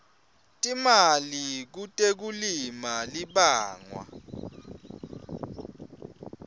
timali kutekulima libangwa